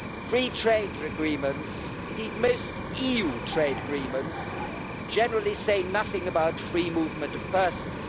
Free trade agreements indeed, most EU trade agreements generally say nothing about free movement of persons.